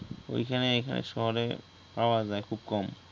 অইখানে এখানে শহরে পাওয়া যায় খুব কম